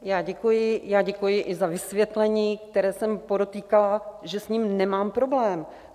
Já děkuji i za vysvětlení, které jsem podotýkala, že s ním nemám problém.